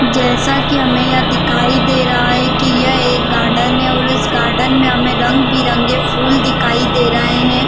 जैसा की हमे यहाँ दिखाई दे रहा है की यह एक गार्डन है और इस गार्डन में हमे रंग-बिरंगे फुल दिखाई दे रहै है।